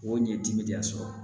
O ɲɛ dimina sɔrɔ